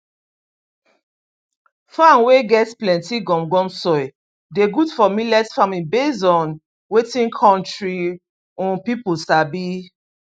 farm wey get plenty gum gum soil dey good for millet farming based on wetin country um people sabi